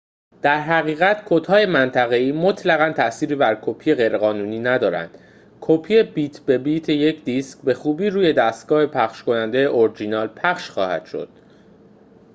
در حقیقت کدهای منطقه‌ای مطلقاً تأثیری بر کپی غیرقانونی ندارد کپی بیت به بیت یک دیسک به خوبی روی دستگاه پخش‌کننده اورجینال پخش خواهد شد